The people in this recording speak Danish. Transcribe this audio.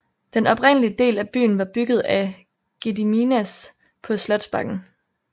Den oprindelige del af byen var bygget af Gediminas på Slotsbakken